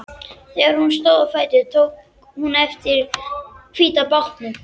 Þegar hún stóð á fætur tók hún eftir hvíta bátnum.